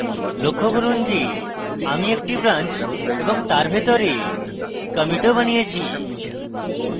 লক্ষ্য করুন যে আপনি একটি branch এবং তার ভিতরে commit ও বানিয়েছেন